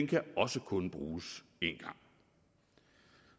kan også kun bruges én gang